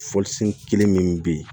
Fɔlisen kelen min bɛ yen